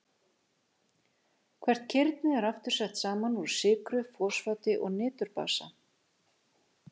Hvert kirni er aftur sett saman úr sykru, fosfati og niturbasa.